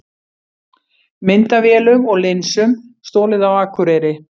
Myndavélum og linsum stolið á Akureyri